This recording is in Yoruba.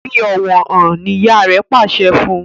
Fí ọwọ hàn! ní ìyá rẹ pàṣẹ fún.